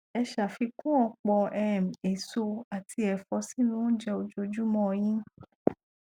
ẹ ṣàfikún ọpọ um èso àti ẹfọ sínú oúnjẹ ojoojúmọ ọ yín